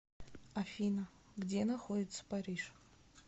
афина где находится париж